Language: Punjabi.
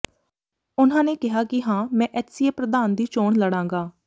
ਉਨ੍ਹਾਂ ਨੇ ਕਿਹਾ ਕਿ ਹਾਂ ਮੈਂ ਐੱਚਸੀਏ ਪ੍ਰਧਾਨ ਦੀ ਚੋਣ ਲੜਾਂਗਾ